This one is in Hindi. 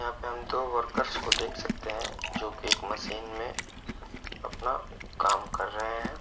यहाँ पे हम दो वर्कर्स को देख सकते हैं जोकि एक मशीन में अपना काम कर रहे हैं।